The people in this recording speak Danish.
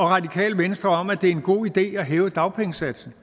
radikale venstre om at det er en god idé at hæve dagpengesatsen